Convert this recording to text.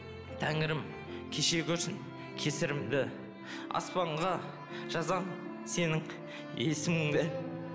тәңірім кеше көрсін кесірімді аспанға жазамын сенің есіміңді